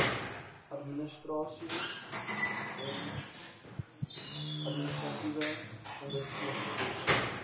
administrasieom administratiewe ondersteuning